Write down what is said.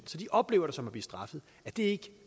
så de oplever det som at blive straffet er det ikke